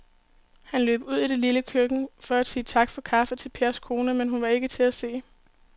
Han løb ud i det lille køkken for at sige tak for kaffe til Pers kone, men hun var ikke til at se.